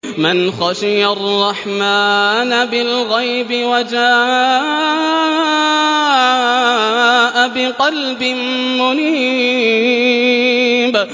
مَّنْ خَشِيَ الرَّحْمَٰنَ بِالْغَيْبِ وَجَاءَ بِقَلْبٍ مُّنِيبٍ